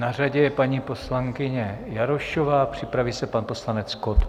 Na řadě je paní poslankyně Jarošová, připraví se pan poslanec Kott.